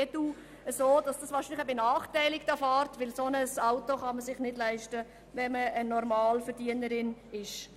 dies an die Adresse des EDU-Sprechers, denn ein solches Auto kann man sich als Normalverdienerin oder Normalverdiener nicht leisten.